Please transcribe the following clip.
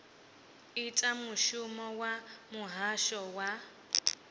ita mushumo wa muhasho wa